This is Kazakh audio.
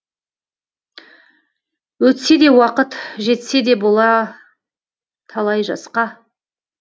өтсе де уақыт жетсе де бола талай жасқа